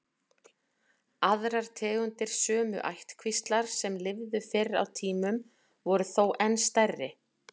Aðrar tegundir sömu ættkvíslar sem lifðu fyrr á tímum voru þó enn stærri.